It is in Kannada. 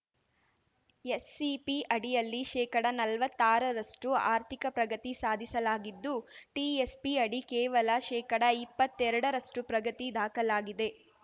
ಎಸ್‌ಸಿಪಿ ಅಡಿಯಲ್ಲಿ ಶೇಕಡನಲ್ವತ್ತಾರರಷ್ಟುಆರ್ಥಿಕ ಪ್ರಗತಿ ಸಾಧಿಸಲಾಗಿದ್ದು ಟಿಎಸ್‌ಪಿ ಅಡಿ ಕೇವಲ ಶೇಕಡಇಪ್ಪತ್ತೆರಡರಷ್ಟುಪ್ರಗತಿ ದಾಖಲಾಗಿದೆ